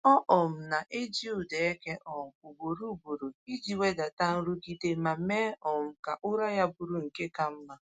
Ọ um na-eji ụda eke um ugboro ugboro iji wedata nrụgide ma mee um ka ụra ya bụrụ nke ka mma.